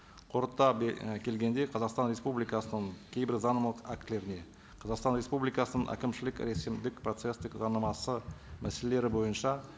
қорыта і келгенде қазақстан республикасының кейбір заңнамалық актілеріне қазақстан республикасының әкімшілік рәсімдік процесстік заңнамасы мәселелері бойынша